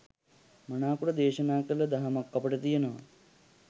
මනාකොට දෙශනා කල දහමක් අපිට තියනවා.